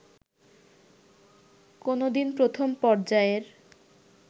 কোনোদিন প্রথম পর্যায়ের